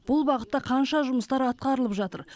бұл бағытта қанша жұмыстар атқарылып жатыр